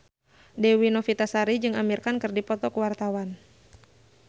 Dewi Novitasari jeung Amir Khan keur dipoto ku wartawan